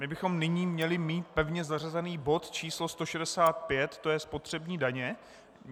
My bychom nyní měli mít pevně zařazený bod č. 165 - to je spotřební daně.